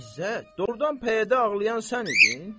İzzət, doğrudan pəyədə ağlayan sən idin?